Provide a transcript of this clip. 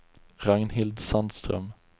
Ragnhild Sandström